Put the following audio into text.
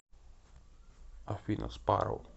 афина спарроу